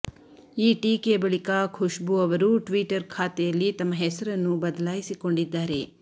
ಈ ಟೀಕೆಯ ಬಳಿಕ ಖುಷ್ಬೂ ಅವರು ಟ್ವೀಟರ್ ಖಾತೆಯಲ್ಲಿ ತಮ್ಮ ಹೆಸರನ್ನು ಬದಲಾಯಿಸಿಕೊಂಡಿದ್ದಾರೆ